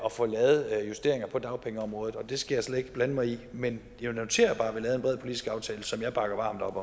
at få lavet justeringer på dagpengeområdet og det skal jeg slet ikke blande mig i men jeg noterer bare at vi lavede en bred politisk aftale som jeg bakker varmt op